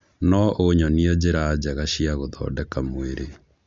no ũnyonie njĩra njega cia gũthondeka mwĩrĩ